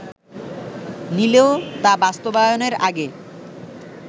নিলেও তা বাস্তবায়নের আগে